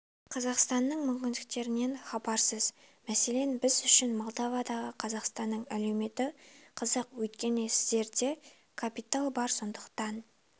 қазақстанның мүмкіндіктерінен хабарсыз мәселен біз үшін молдовадағы қазақстанның әлеуеті қызық өйткені сіздерде капитал бар сондықтан